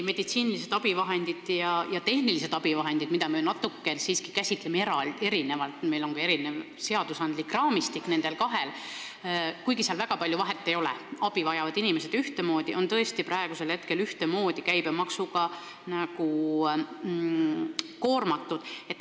Meditsiinilistel abivahenditel ja tehnilistel abivahenditel, mida me käsitleme siiski natuke erinevalt, on ka erinev seadusandlik raamistik – kuigi väga palju vahet ei ole, sest abi vajavad inimesed ühtemoodi –, aga need on praegu ühtemoodi käibemaksuga koormatud.